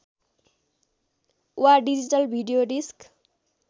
वा digital video disk